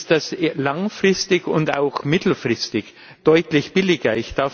ist das langfristig und auch mittelfristig deutlich billiger?